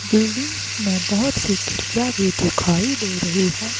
Buildings में बहुत सी खिड़कियां भी दिखाई दे रही है।